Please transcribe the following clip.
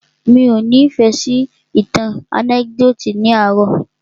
Mí ọ́ ni ìfẹ́ sí ìtàn ànẹ́kídòtì ní àárò.